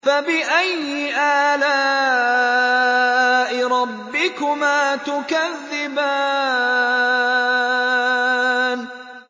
فَبِأَيِّ آلَاءِ رَبِّكُمَا تُكَذِّبَانِ